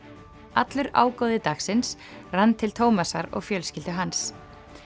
allur ágóði dagsins rann til Tómasar og fjölskyldu hans